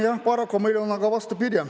Jah, paraku läheb meil vastupidi.